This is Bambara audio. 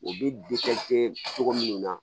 U bɛ cogo minnu na